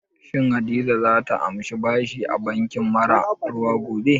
Shin Hadiza za ta amshi bashi a banki mara ruwa gobe?